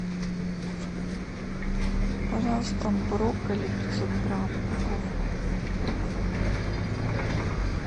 пожалуйста брокколи пятьсот грамм упаковку